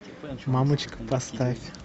мамочка поставь